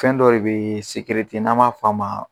Fɛn dɔ le bɛ ye sigɛrɛti n an b'a f'a ma.